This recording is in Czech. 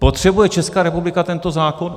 Potřebuje Česká republika tento zákon?